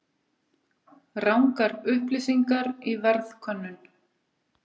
Rangar upplýsingar í verðkönnun